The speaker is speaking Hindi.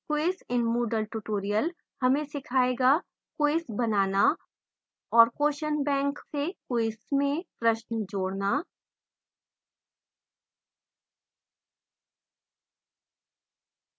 quiz in moodle tutorial हमें सीखाएगा : quiz बनाना और question bank से quiz में प्रश्न जोड़ना